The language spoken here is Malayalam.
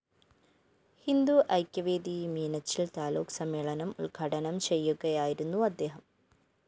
ഹിന്ദുഐക്യവേദി മീനച്ചില്‍ താലൂക്ക് സമ്മേളനം ഉദ്ഘാടനം ചെയ്യുകയായിരുന്നു അദ്ദേഹം